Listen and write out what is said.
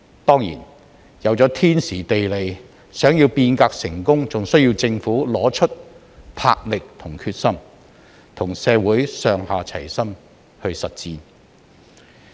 當然，有了天時、地利，想要變革成功，還須要政府拿出魄力和決心，與社會上下齊心實踐。